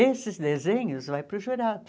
Esses desenhos vai para o jurado.